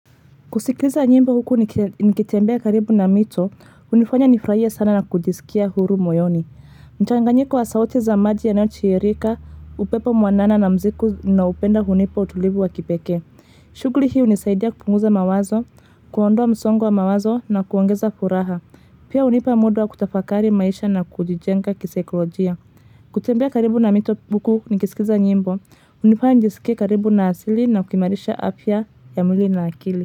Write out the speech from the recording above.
Kusikiza nyimbo huku nikitembea karibu na mito, hunifanya nifurahia sana na kujisikia huru moyoni. Mchanganyiko wa sauti za maji yanaochiririka, upepo mwanana na muziki ninaupenda hunipa utulivu wa kipekee. Shughuli hii hunisaidia kupunguza mawazo, kuondoa msongo wa mawazo na kuongeza furaha. Pia hunipa muda wa kutafakari maisha na kujijenga kisaikolojia. Kutembea karibu na mito huku nikisikiza nyimbo, hunifanya nijisikia karibu na asili na kuimarisha afya ya mwili na akili.